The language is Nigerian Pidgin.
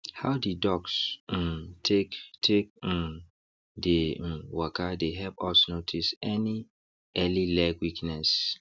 how the ducks um take take um dey um waka dey help us notice any early leg weakness